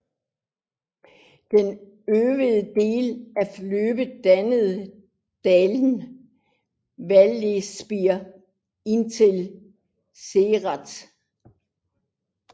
Den øvre del af løbet danner dalen Vallespir indtil Céret